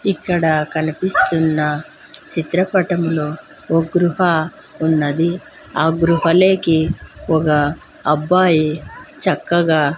ఇక్కడ కనిపిస్తున్న చిత్రపటంలో ఓ గృహ ఉన్నది ఆ గృహలేకి ఒక అబ్బాయి చక్కగా--